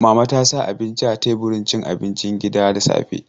Mama ta sa abinci a teburin cin abinci gida da safe.